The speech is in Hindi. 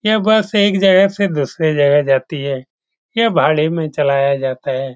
यह बस एक जगह से दूसरे जगह जाती है यह भाड़े में चलाया जाता है।